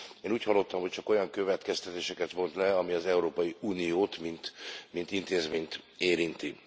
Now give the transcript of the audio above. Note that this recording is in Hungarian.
És én úgy hallottam, hogy csak olyan következtetéseket vont le, ami az Európai Uniót, mint intézményt érinti.